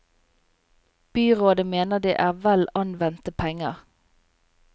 Byrådet mener det er vel anvendte penger.